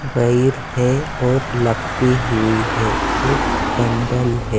बैर है और लपटी हुई है एक बंडल है।